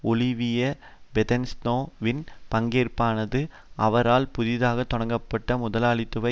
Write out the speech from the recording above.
Olivier Besancenot வின் பங்கேற்பானது அவரால் புதிதாக தொடங்கப்பட்ட முதலாளித்துவ